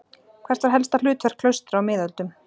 Hvert var helsta hlutverk klaustra á miðöldum?